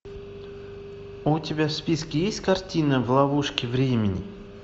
у тебя в списке есть картина в ловушке времени